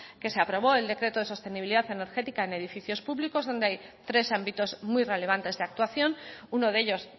que se aprobó el decreto de sostenibilidad energética en edificios públicos donde hay tres ámbitos muy relevantes de actuación uno de ellos